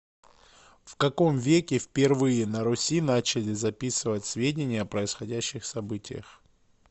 в каком веке впервые на руси начали записывать сведения о происходящих событиях